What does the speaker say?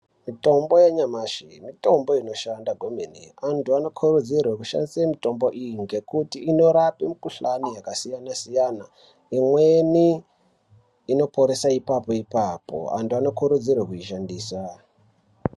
Mitombo yanyamashi mitombo inoshanda kwemene. Antu anokurudzirwe kushandisa mitombo iyi ngekuti inorape mikuhlani yakasiyana-siyana. Imweni inoporesa ipapo-ipapo. Antu anokurudzirwa kuishandisa.